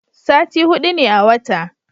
sati hudu ne a wata